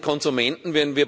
Wir alle sind Konsumenten.